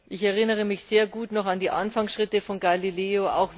Ich erinnere mich sehr gut noch an die Anfangsschritte von Galileo.